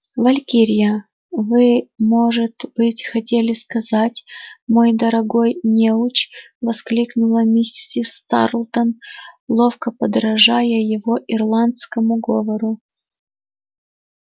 валькирия вы может быть хотели сказать мой дорогой неуч воскликнула миссис тарлтон ловко подражая его ирландскому говору